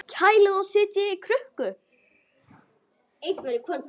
Kælið og setjið í krukku.